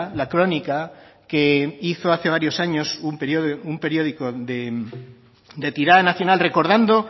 la crónica que hizo hace varios años un periódico de tirada nacional recordando